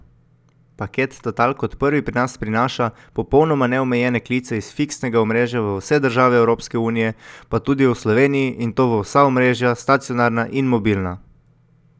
Paket Total, kot prvi pri nas prinaša popolnoma neomejene klice iz fiksnega omrežja v vse države Evropske unije, pa tudi v Sloveniji, in to v vsa omrežja, stacionarna in mobilna.